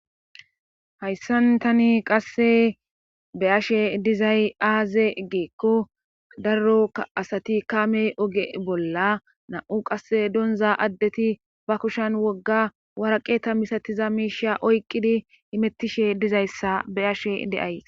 hayssan tani qasse be ashe dizay aaze geekko darroka asati kaame oge bolla nam7u qasse donza addeti ba kushan wogga waraqe ta misatiza miisha oyqqidi imettishe dizayssa be ashe deay